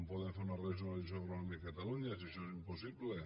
poden fer una regionalització agronòmica a catalunya si això és impossible